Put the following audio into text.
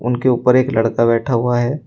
उनके ऊपर एक लड़का बैठा हुआ है।